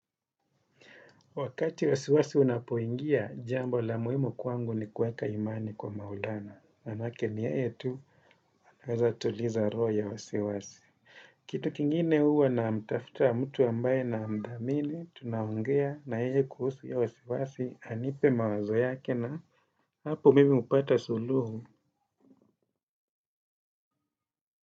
Wakati wasiwasi unapoingia, jambo la muhimu kwangu ni kueka imani kwa Maulana. Manake ni yeye tu, anaweza tuliza roho ya wasiwasi. Kitu kingine huwa na mtafta mtu ambaye na mdamini, tunaongea nayeye kuhusu iyo wasiwasi, anipe mawazo yake na hapo mimi hupata suluhu.